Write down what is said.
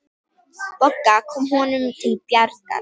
Bogga kom honum til bjargar.